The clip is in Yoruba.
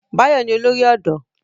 Báyọ̀ ni olórí ọ̀dọ́